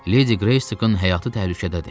Ledi Qreysin həyatı təhlükədədir.